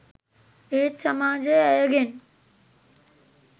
ඒත් සමාජය ඇයගෙන්